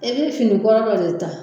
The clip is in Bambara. I bɛ fini kɔrɔ dɔ de ta